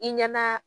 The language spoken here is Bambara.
I ɲɛna